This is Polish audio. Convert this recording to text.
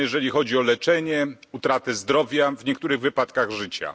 Kosztowne, jeżeli chodzi o leczenie, utratę zdrowia, a w niektórych wypadkach życia.